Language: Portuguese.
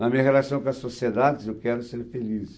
Na minha relação com a sociedade, quer dizer, eu quero ser feliz.